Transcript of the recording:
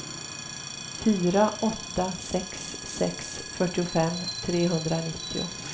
fyra åtta sex sex fyrtiofem trehundranittio